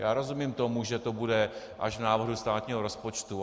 Já rozumím tomu, že to bude až v návrhu státního rozpočtu.